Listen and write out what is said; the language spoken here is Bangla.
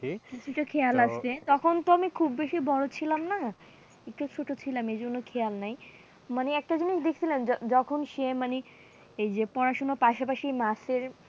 সেদিকে খেয়াল রাখছে তখন তো আমি খুব বেশি বড়ো ছিলাম না একটু ছোট ছিলাম সেইজন্যে খেয়াল নেই, মানে একটা জিনিস দেখছিলাম যখন সে মানে এই যে পড়াশোনার পাশাপাশি নাচের